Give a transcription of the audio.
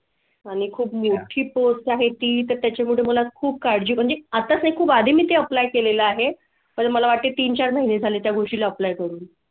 आणि खूप post आहे ती तर त्याच्या मुळे मला खूप काळजी म्हणजे आता खूप आधी मी ते apply केलेलं आहे पण मला वाटते -तीन चार महिने झालेत या गोष्टी apply करून